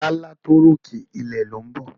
Lálá tó ròkè ilẹ̀ ló bọ̀